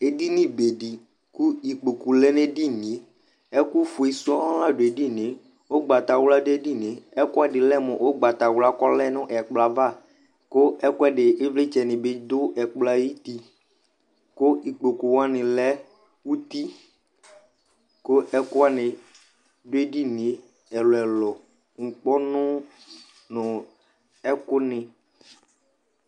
ɛdini bɛni ku ɩkpɔku lɛnu ɛdini ɛkuƒɛsɔ ladu ediniɛ ɔglata nu ɛdiniɛ ɛkuɛdi lunu ɔglata ylɛa ku nulɛ nu ɛdiniɛ ku ɩvlɩtsɛ bi ɔdu ɛdini ku ɩkpɔku yanilɛ ɔti ku ɛkuyani du ɛdiniɛ nukpɔnu nu ɛkuni